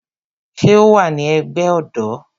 Ṣé o wa ní ẹgbẹ́ ọ̀dọ́?